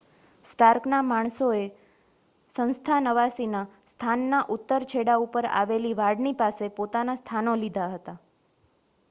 સ્ટાર્કનાં માણસોએ સંસ્થાનવાસીનાં સ્થાનના ઉત્તર છેડા ઉપર આવેલી વાડની પાસે પોતાના સ્થાનો લીધા હતા